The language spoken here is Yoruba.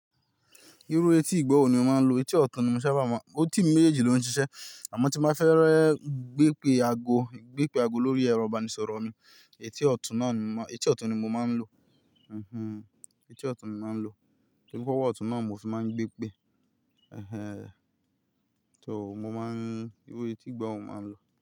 Irú etí ìgbo wo ni mo máa ń lo, etí ọ̀tún ni mo sábà máa ń, etí mi méji ló ń ṣiṣẹ́. Àmọ́ tí mo bá fẹ́ rẹ́ gbé pè ago, gbé pè ago lórí ẹrọ ìbánisọ̀rọ̀ mi, etí ọ̀tún náà ni mo máa, etí ọ̀tún ni mo máa ń lo. Etí ọ̀tún ni mo máa ń lo. Tí mo bá wọ ọ̀tún náà mo fì máa ń gbé pè. So mo máa ń, irú etí ìgbo wo mo máa ń lo.